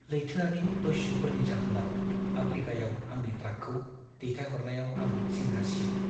लैथोआरि दस्युफोरनि जाहोनाव आफ्रीकायाव आंनि ट्राकखौ दैथायहरनायाव आं जिंगा सियो।